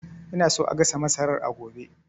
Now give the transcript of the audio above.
Ina so a gasa masarar a gobe